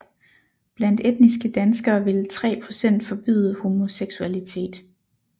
Blandt etniske danskere ville 3 procent forbyde homoseksualitet